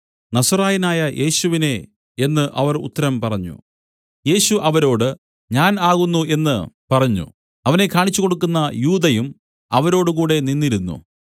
നസറായനായ യേശുവിനെ എന്നു അവർ ഉത്തരം പറഞ്ഞു യേശു അവരോട് ഞാൻ ആകുന്നു എന്നു പറഞ്ഞു അവനെ കാണിച്ചു കൊടുക്കുന്ന യൂദയും അവരോടുകൂടെ നിന്നിരുന്നു